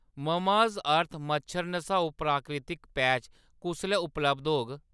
Mamaearth मच्छर नसाऊ प्राकृतिक पैच कुसलै उपलब्ध होग ?